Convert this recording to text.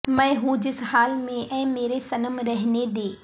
میں ہوں جس حال میں اے میرے صنم رہنے دے